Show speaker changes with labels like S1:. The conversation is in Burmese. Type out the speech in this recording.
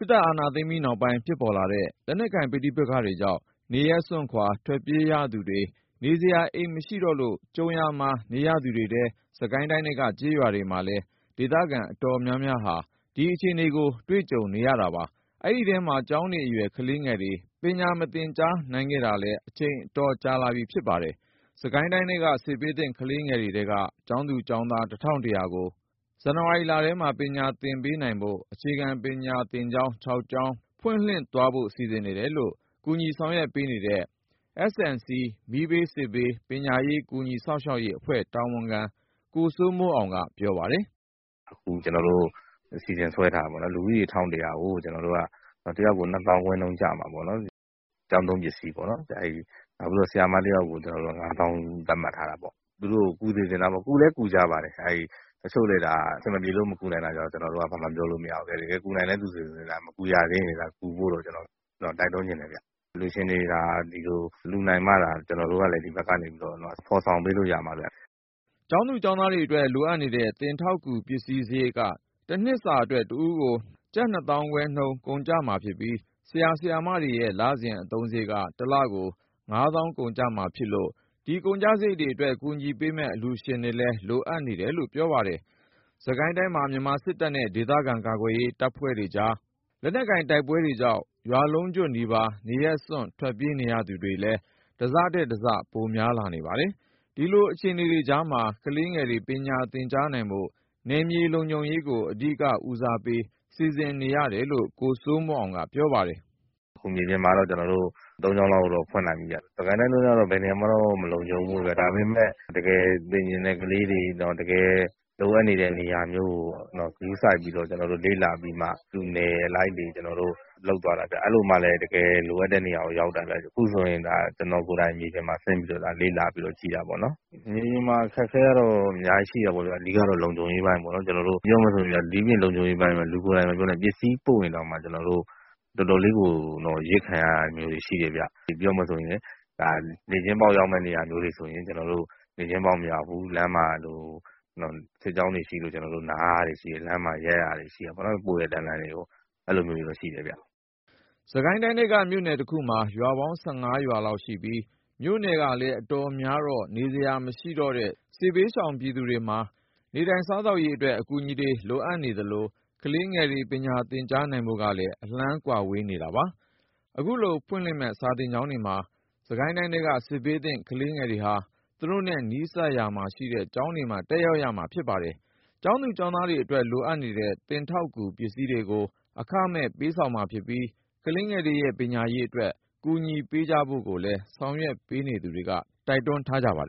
S1: စ်အာဏာသိမ်းပြီးနောက်ပိုင်း ဖြစ်ပေါ်လာတဲ့ လက်နက်ကိုင် ပဋိပက္ခတွေကြောင့် နေရပ်စွန့်ခွာ ထွက်ပြေးရသူတွေ၊ နေစရာ အိမ်မရှိတော့လို့ ကြုံရာမှာ နေရသူတွေထဲ စစ်ကိုင်းတိုင်းထဲက ကျေးရွာတွေမှာလည်း ဒေသခံအတော်များများဟာ ဒီအခြေအနေကို ကြုံတွေ့နေရတာပါ။ အဲဒီထဲမှာ ကျောင်းနေအရွယ် ကလေးငယ်တွေ ပညာမသင်ကြားနိုင်ခဲ့တာလည်း အချိန်တော်တော်ကြာခဲ့ပါတယ်။ စစ်ကိုင်းတိုင်းထဲက စစ်ဘေးသင့် ကလေးငယ်တွေထဲက ကျောင်းသား၊ ကျောင်းသူပေါင်း ၁,၁၀၀ ကို အခုလ ဇန်နဝါရီထဲမှာ ပညာသင်ပေးနိုင်ဖို့ အခြေခံပညာသင်ကျောင်း ၆ ကျောင်း ဖွင့်လှစ်သွားဖို့ စီစဉ်နေတယ်လို့ ကူညီဆောင်ရွက်ပေးနေတဲ့ S&C မီးဘေး၊ စစ်ဘေး၊ ပညာရေး ကူညီစောင့်ရှောက်ရေးအဖွဲ့ တာဝန်ခံ ကိုစိုးမိုးအောင်က ပြောပါတယ်
S2: ။ "အခု ကျနော်တို့ အစီအစဉ်ဆွဲထားတာ ကျောင်းသားဦးရေ ၁,၁၀၀ ကို တယောက်ကို ၂ သောင်းခွဲနှုန်း ကျမှာပေါ့နော်။ ကျောင်းသုံးပစ္စည်းတွေ အတွက်ရောပေါ့။ နောက်ပြီးတော့ ဆရာမတယောက်ကို ကျနော်တို့က ၅ သောင်းနှုန်း သတ်မှတ်ထားတာပေါ့။ သူတို့ကို ကူညီစေချင်တာပေါ့နော်။ ကူလည်း ကူညီကြပါတယ်။ တချို့တွေကျတော့ အဆင်မပြေလို့ မကူနိုင်တာကိုတော့ ကျနော်တို့က ဘာမှပြောလို့ မရဘူးလေ။ တကယ်နိုင်တဲ့သူတွေဆို မကူရသေးရင်တော့ ကူညီဖို့ တိုက်တွန်းချင်တယ်ဗျ။ အလှူရှင်တွေ ဒီလိုလှူနိုင်မှသာ ကျနော်တို့ကလည်း ဒီဘက်ကနေပြီးတော့ ဖော်ဆောင်ပေးလို့ ရမှာဗျ
S1: ။" ကျောင်းသား၊ ကျောင်းသူတွေအတွက် လိုအပ်တဲ့ သင်ထောက်ကူပစ္စည်းစရိတ်က တနှစ်စာအတွက် တဦးကို ၂ သောင်းခွဲနှုန်း ကုန်ကျမှာဖြစ်ပြီး၊ ဆရာ၊ ဆရာမတွေရဲ့ လစဉ်အသုံးစရိတ်က ၁ လကို ၅ သောင်းကျမှာဖြစ်လို့ ဒီကုန်ကျစရိတ်တွေအတွက် ကူညီပေးမယ့် အလှူရှင်တွေလည်း လိုအပ်နေတယ်လို့ ပြောပါတယ်။ စစ်ကိုင်းတိုင်းမှာ မြန်မာစစ်တပ်နဲ့ ဒေသခံကာကွယ်ရေး အဖွဲ့တွေကြားက လက်နက်ကိုင်တိုက်ပွဲတွေကြောင့် ရွာလုံးကျွတ်နီးပါး နေရပ်စွန့် ထွက်ပြေးနေရသူတွေလည်း တစထက်တစ ပိုများလာနေပါတယ်။ ဒီလိုအခြေအနေတွေကြားမှာ ကလေးငယ်တွေ ပညာသင်ကြားနိုင်ဖို့ နယ်မြေလုံခြုံရေးကို အဓိကဦးစားပေး စီစဉ်ထားတယ်လို့ ကိုစိုးမိုးအောင်က ပြောပါတယ်။ "
S2: အခု မြေပြင်မှာတော့ ကျနော်တို့ ၃ ကျောင်းလောက်တော့ ဖွင့်နိုင်ပြီဗျ။ စစ်ကိုင်းတိုင်းကတော့ ဘယ်နေရာမှတော့ မလုံခြုံဘူးပေါ့ဗျာ။ ဒါပေမဲ့ တကယ်စာသင်ချင်တဲ့ ကလေးတွေ၊ တကယ်လိုအပ်နေတဲ့ နေရာမျိုးကို ဂရုစိုက်ပြီး ကျနော်တို့ လေ့လာပြီးမှ သူ့အနယ်လိုက်တွေ လုပ်သွားတာဗျ။ အဲလိုမှလည်း တကယ်လိုအပ်တဲ့နေရာကို ရောက်တာဗျ။ အခုဆိုရင် ကျနော်ကိုယ်တိုင် မြေပြင်မှာဆင်းပြီးတော့ လေ့လာပြီးတော့ ကြည့်တာပေါ့နော်။ မြေပြင်မှာ အခက်အခဲကတော့ အများကြီးရှိတာပေါ့ဗျာ။ အဓိကတော့ လုံခြုံရေးပိုင်းပေါ့နော်။ ပြောရမယ်ဆိုရင်ဗျာ ဒိပြင့်လုံခြုံရေးပိုင်း မပြောနဲ့၊ ပစ္စည်းပို့ရင်တောင်မှ ကျနော်တို့တွေ တော်တော်လေးကို အရစ်ခံရတာမျိုးတွေ ရှိတယ်ဗျ။ နေ့ချင်းပေါက်ရောက်မယ့် နေရာမျိုးတွေဆို ကျနော်တို့ နေ့ချင်းပေါက် မရောက်ဘူး။ လမ်းမှာ စစ်ကြောင်းတွေရှိလို့ ကျနော်တို့ နားရတာမျိုးတွေရှိတယ်။ ပို့တဲ့တန်းလန်းကြီးကို ရပ်ရတာမျိုးတွေ ရှ
S1: ိတယ်ဗျ။" စစ်ကိုင်းတိုင်းထဲက မြို့နယ်တခုမှာ ရွာပေါင်း ၁၅ ရွာလောက်ရှိပြီး၊ မြို့နယ်ကလည်း အတော်များတော့ နေစရာမရှိတဲ့ စစ်ဘေးရှောင်သူတွေမှာ နေထိုင်စားသောက်ရေးအတွက် အကူအညီတွေလိုအပ်နေသလို ကလေးငယ်တွေ ပညာသင်ကြားနိုင်ဖို့ကလည်း အလှမ်းဝေး နေတာပါ။ အခုဖွင့်လှစ်မယ့် စာသင်ကျောင်းတွေမှာ စစ်ကိုင်းတိုင်းထဲက စစ်ဘေးသင့် ကလေးငယ်တွေဟာ သူတို့နဲ့နီးစပ်ရာမှာရှိတဲ့ ကျောင်းတွေမှာ တက်ရောက်ရမှာ ဖြစ်ပါတယ်။ ကျောင်းသား၊ ကျောင်းသူတွေအတွက် လိုအပ်တဲ့သင်ထောက်ကူ ပစ္စည်းတွေကို အခမဲ့ပေးဆောင်မှာဖြစ်ပြီး ကလေးငယ်တွေရဲ့ ပညာရေးအတွက် ကူညီပေးကြဖို့ကိုလည်း ဆောင်ရွက်ပေးနေသူတွေက တိုက်တွန်းထားပါ